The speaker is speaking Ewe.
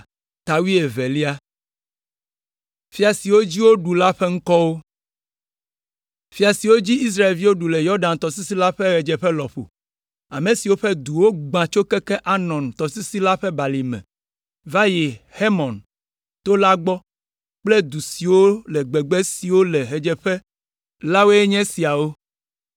Fia siwo dzi Israelviwo ɖu le Yɔdan tɔsisi la ƒe ɣedzeƒe lɔƒo, ame siwo ƒe duwo wogbã tso keke Arnon tɔsisi la ƒe balime va yi Hermon to la gbɔ kple du siwo le gbegbe siwo le ɣedzeƒe la woe nye esiawo: